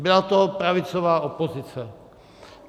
Byla to pravicová opozice.